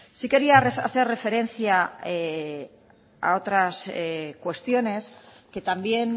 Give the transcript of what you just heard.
sí quería hacer referencia a otras cuestiones que también